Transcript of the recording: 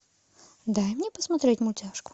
дай мне посмотреть мультяшку